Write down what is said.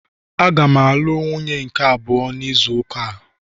Aga m alụ nwunye m nke abụọ n'izu ụka a